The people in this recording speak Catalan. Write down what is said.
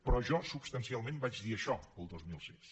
però jo substancialment vaig dir això el dos mil sis